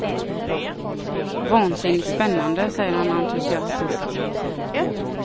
Vansinnigt spännande, säger han entusiastiskt.